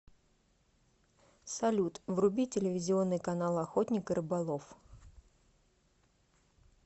салют вруби телевизионный канал охотник и рыболов